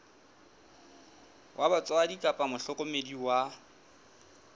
wa batswadi kapa mohlokomedi wa